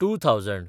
two thousand